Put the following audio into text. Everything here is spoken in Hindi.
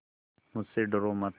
मुझसे डरो मत